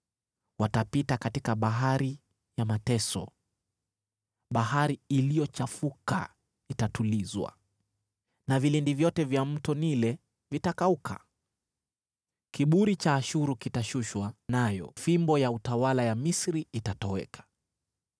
Watapita katika bahari ya mateso; bahari iliyochafuka itatulizwa na vilindi vyote vya Mto Naili vitakauka. Kiburi cha Ashuru kitashushwa, nayo fimbo ya utawala ya Misri itatoweka.